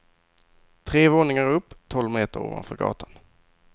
Tre våningar upp, tolv meter ovanför gatan.